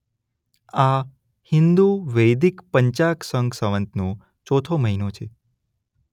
આ હિંદુ વૈદિક પંચાગ શક સંવતનો ચોથો મહિનો છે.